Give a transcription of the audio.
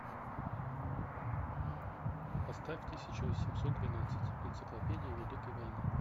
поставь тысяча восемьсот двенадцать энциклопедия великой войны